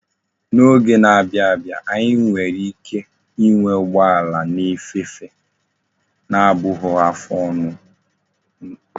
N'oge na-abia abia, anyi nwere ike inwe ugbo ala na efe efe, na abughi afo nnunu